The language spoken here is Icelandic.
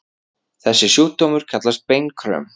Þessi sjúkdómur kallast beinkröm.